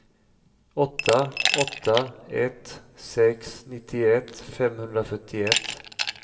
åtta åtta ett sex nittioett femhundrafyrtioett